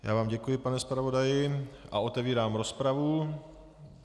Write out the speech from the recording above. Já vám děkuji, pane zpravodaji, a otevírám rozpravu.